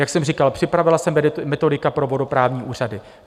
Jak jsem říkal, připravila se metodika pro vodoprávní úřady.